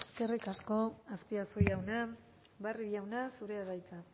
eskerrik asko azpiazu jauna barrio jauna zurea da hitza